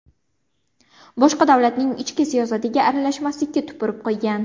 Boshqa davlatning ichki siyosatiga aralashmaslikka tupurib qo‘ygan.